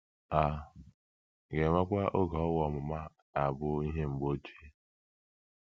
A ga-enwekwa oge owu ọmụma ga - abụ ihe mgbe ochie?